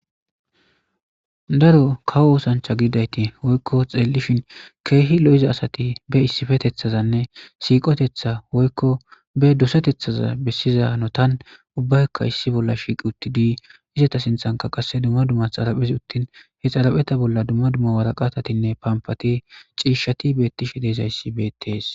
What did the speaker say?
daro kawo oosancha gidayti woykko xeellishin keehi lo7iza asati be issifetethazanne siiqotetha woykko be doseteththaza bessiza notan ubbaykka issi bolla shiiqi utti dii izata sinthanka qasse dumma dumma xaraphes uttin he xarapheta bolla dumma dumma waraqatatinne pampati ciishshati beettishe deezayssi beettees